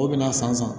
O bɛna a san san